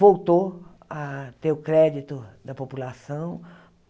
Voltou a ter o crédito da população.